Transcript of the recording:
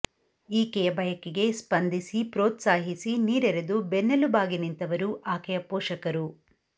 ಈಕೆಯ ಬಯಕೆಗೆ ಸ್ಪಂದಿಸಿ ಪ್ರೋತ್ಸಾಹಿಸಿ ನೀರೆರೆದು ಬೆನ್ನೆಲುಬಾಗಿ ನಿಂತವರು ಆಕೆಯ ಪೋಷಕರು